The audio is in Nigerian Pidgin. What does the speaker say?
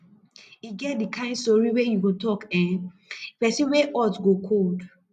e get di kain sori wey yu go tok eh pesin wey hot go cold